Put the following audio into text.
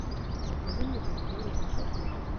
закажи мне помидоры с доставкой на дом